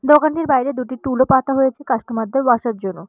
দোকানটির বাইরে দুটি টুল -ও পাতা হয়েছে কাস্টমার -দের বসার জন্য।